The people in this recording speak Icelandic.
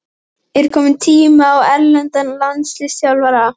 Er kominn tími á erlendan landsliðsþjálfara?